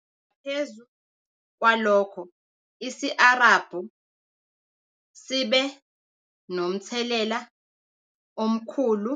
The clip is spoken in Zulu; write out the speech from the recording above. Ngaphezu kwalokho, isi-Arabhu sibe nomthelela omkhulu